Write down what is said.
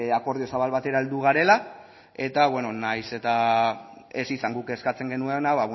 akordio zabal batera heldu garela eta beno nahiz eta ez izan guk eskatzen genuena